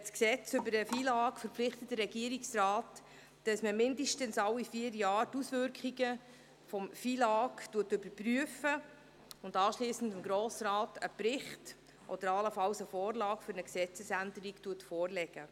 Das FILAG verpflichtet den Regierungsrat, mindestens alle vier Jahre dessen Auswirkungen zu überprüfen und anschliessend dem Grossen Rat einen Bericht oder allenfalls eine Vorlage für eine Gesetzesänderung vorzulegen.